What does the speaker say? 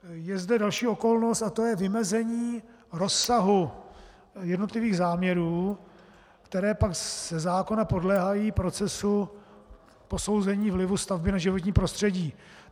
Je zde další okolnost a to je vymezení rozsahu jednotlivých záměrů, které pak ze zákona podléhají procesu posouzení vlivu stavby na životní prostředí.